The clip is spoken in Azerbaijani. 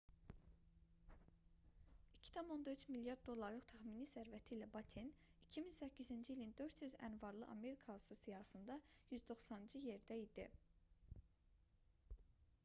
2,3 milyard dollarlıq təxmini sərvəti ilə batten 2008-ci ilin 400 ən varlı amerikalısı siyahısında 190-cı yerdə idi